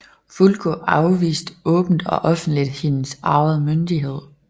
Fulko afviste åbent og offenligt hendes arvede myndighed